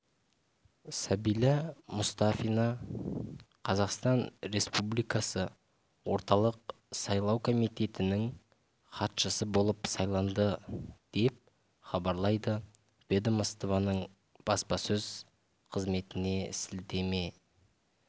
сәбила мұстафина қазақстан республикасы орталық сайлау комитетінің хатшысы болып сайланды деп хабарлайды ведомствоның баспасөз қызметіне сілтеме